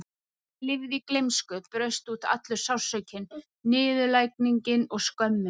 Þegar ég lifði í gleymsku braust út allur sársaukinn, niðurlægingin og skömmin.